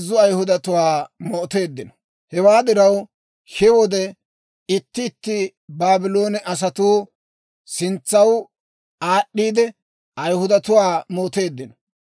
Hewaa diraw, he wode itti itti Baabloone asatuu sintsaw aad'd'iide, Ayihudatuwaa mooteeddino.